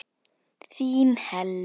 Þín Helma.